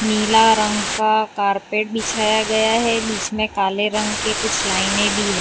नीला रंग का कारपेट बिछाया गया है बीच में काले रंग की कुछ लाइने भी है।